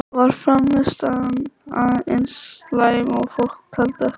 Var frammistaðan eins slæm og fólk taldi eftir leik?